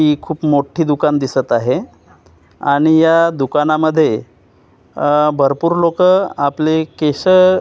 हि खूप मोठी दुकान दिसत आहे आणि या दुकानामध्ये अ भरपूर लोकं आपले केस--